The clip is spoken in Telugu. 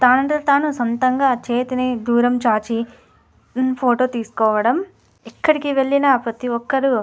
తానుఅంతటితాను సొంతగా చేతిని దూరం చాచి ఫోటో తీసుకోవడం ఎక్కడికి వెళ్లిన ప్రతిఒక్కరు --